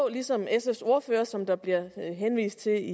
ligesom sfs ordfører som der bliver henvist til i